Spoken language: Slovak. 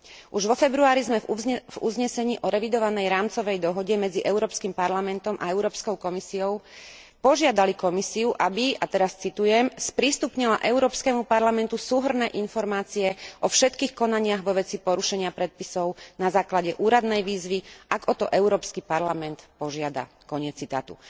Už vo februári sme v uznesení o revidovanej rámcovej dohode medzi Európskym parlamentom a Európskou komisiou požiadali Komisiu, aby, a teraz citujem sprístupnila Európskemu parlamentu súhrnné informácie o všetkých konaniach vo veci porušenia predpisov na základe úradnej výzvy, ak o to Európsky parlament požiada, koniec citátu.